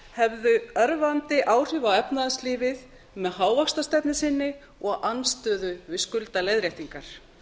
hefðu örvandi áhrif á efnahagslífið með hávaxtastefnu sinni og andstöðu við skuldaleiðréttingar